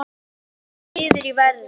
Hrynur niður í verði